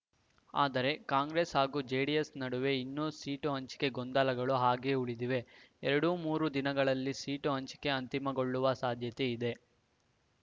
ಆದರೆ ಕಾಂಗ್ರೆಸ್ ಹಾಗೂ ಜೆಡಿಎಸ್ ನಡುವೆ ಇನ್ನೂ ಸೀಟು ಹಂಚಿಕೆ ಗೊಂದಲಗಳು ಹಾಗೆ ಉಳಿದಿವೆ ಎರಡು ಮೂರು ದಿನಗಳಲ್ಲಿ ಸೀಟು ಹಂಚಿಕೆ ಅಂತಿಮಗೊಳ್ಳುವ ಸಾಧ್ಯತೆ ಇದೆ